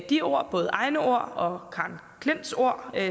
de ord både egne ord og karen klints ord